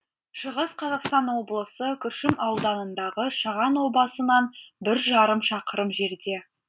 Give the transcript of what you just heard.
шығыс қазақстан облысы күршім ауданындағы шаған обасынан бір жарым шақырым жерде